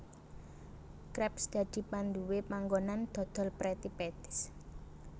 Krabs dadi panduwé panggonan dodol Pretty Patties